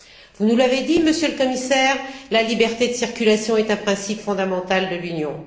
Vous nous l'avez dit, Monsieur le Commissaire, la liberté de circulation est un principe fondamental de l'Union.